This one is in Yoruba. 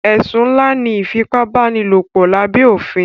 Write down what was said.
Ẹ̀sùn ńlá ní ìfipábánilòpọ̀ lábé òfin.